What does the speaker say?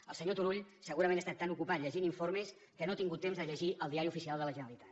el senyor turull segurament està tan ocupat llegint informes que no ha tingut temps de llegir el diari oficial de la generalitat